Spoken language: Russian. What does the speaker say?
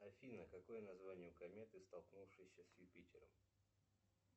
афина какое название у кометы столкнувшейся с юпитером